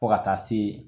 Fo ka taa se